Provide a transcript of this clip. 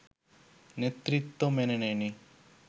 নেতৃত্ব মেনে নেয়নি